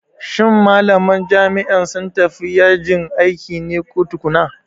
Shin malaman jami'a sun tafi yajin aiki ne ko tukuna?